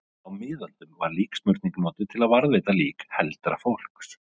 á miðöldum var líksmurning notuð til að varðveita lík heldra fólks